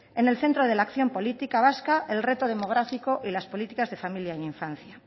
en el centro de la acción política vasca el reto demográfico y las políticas de familia en infancia